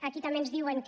aquí també ens diuen que